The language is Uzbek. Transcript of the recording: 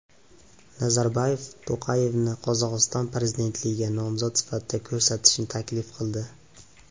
Nazarboyev To‘qayevni Qozog‘iston prezidentligiga nomzod sifatida ko‘rsatishni taklif qildi.